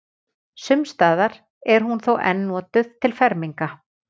Sums staðar er hún þó enn notuð til ferminga.